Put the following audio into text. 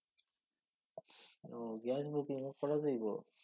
ও gas বুকিঙও করা যাইব?